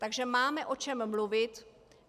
Takže máme o čem mluvit.